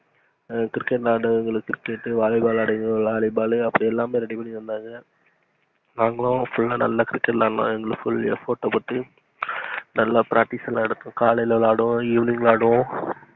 cricket விளையடுறவங்களுக்கு cricketvollyball அப்படிலாம் ready பண்ணி தந்தாங்க நாங்களும் நல்லா full ஆஹ் cricket விளையாண்டோம் full effort குடுத்து நல்லா pratice எடுத்தோம் காலைல விளையாடுவோம், evening விளையாடுவோம்.